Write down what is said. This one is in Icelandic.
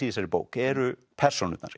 í þessari bók eru persónurnar